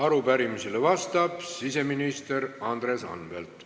Arupärimisele vastab siseminister Andres Anvelt.